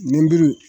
Nɛnburu